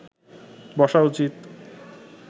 বসা উচিৎ